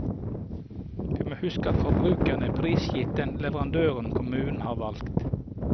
Vi må huske at forbrukerne er prisgitt den leverandøren kommunen har valgt.